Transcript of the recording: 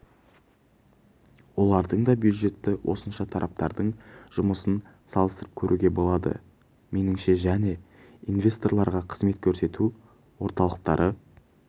олардың да бюджеті осынша тараптардың жұмысын салыстырып көруге болады меніңше және инвесторлаға қызмет көрсету орталықтары